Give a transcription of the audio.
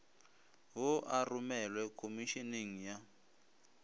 wo a romelwe khomišeneng ya